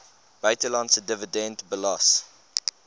buitelandse dividend belas